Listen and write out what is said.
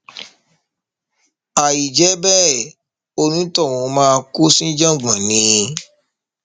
àìjẹ bẹẹ onítọhún máa kó síjàngbọn ni